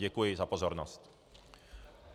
Děkuji za pozornost.